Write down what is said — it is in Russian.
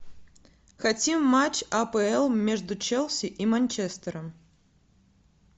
хотим матч апл между челси и манчестером